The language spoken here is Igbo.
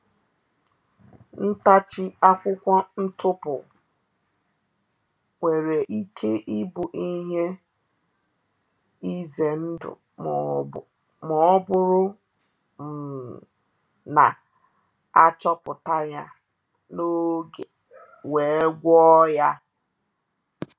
Ntachi akwụkwọ ntụpụ nwere ike ịbụ ihe ize ndụ ma ọ bụrụ um na a achọpụta ya n’oge we’ gwo ya